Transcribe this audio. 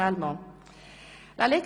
Ich wünsche einen guten Appetit.